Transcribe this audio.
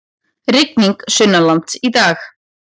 Rigning sunnanlands í dag